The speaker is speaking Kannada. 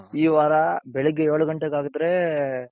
ಈ ವಾರ ಬೆಳಿಗ್ಗೆ ಏಳ್ ಘಂಟೆಗೆ ಆಗ್ದ್ರೆ,